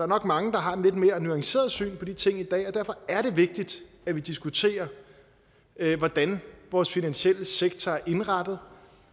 nok mange der har et lidt mere nuanceret syn på de ting i dag og derfor er det vigtigt at vi diskuterer hvordan vores finansielle sektor er indrettet